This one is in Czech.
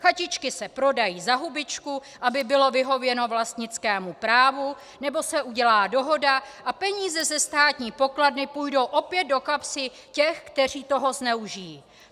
Chatičky se prodají za hubičku, aby bylo vyhověno vlastnickému právu, nebo se udělá dohoda a peníze ze státní pokladny půjdou opět do kapsy těch, kteří toho zneužijí.